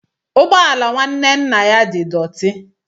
Ụgbọ ala nwanne nna ya di dọti.